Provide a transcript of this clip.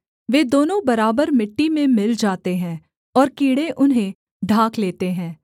वे दोनों बराबर मिट्टी में मिल जाते हैं और कीड़े उन्हें ढांक लेते हैं